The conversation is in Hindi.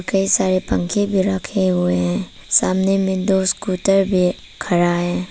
कई सारे पंखे भी रखे हुए हैं सामने में दो स्कूटर भी खड़ा है।